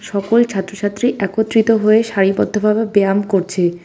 সকল ছাত্র-ছাত্রী একত্রিত হয়ে সারিবদ্ধভাবে ব্যায়াম করছে।